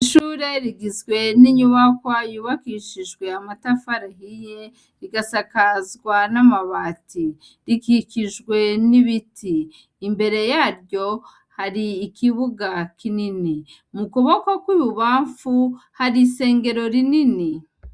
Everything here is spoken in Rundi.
Ishure rigizwe n'inyubakwa yubakishijwe amatafari ahiye rigasakazwa n'amabati rikikijwe n'ibiti imbere yaryo hari ikibuga kinini mu kuboko kw'ibubamfu hari isengero rinini.